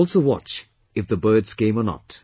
And also watch if the birds came or not